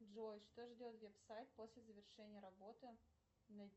джой что ждет веб сайт после завершения работы